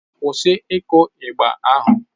Kwụsị ịkụ igba ahụ!